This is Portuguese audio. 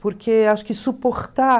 Porque acho que suportar